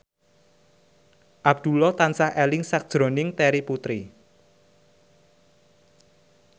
Abdullah tansah eling sakjroning Terry Putri